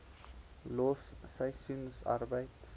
los seisoensarbeid